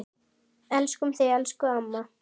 Elskum þig, elsku amma.